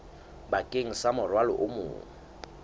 bakeng sa morwalo o mong